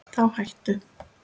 Þá hættu